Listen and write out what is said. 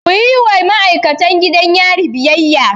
Kuyi wa ma'aikatan gidan yari biyayya!